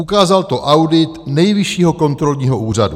Ukázal to audit Nejvyššího kontrolního úřadu.